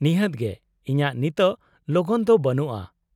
-ᱱᱤᱦᱟᱹᱛ ᱜᱮ, ᱤᱧᱟᱹᱜ ᱱᱤᱛᱳᱜ ᱞᱚᱜᱚᱱ ᱫᱚ ᱵᱟᱹᱱᱩᱜᱼᱟ ᱾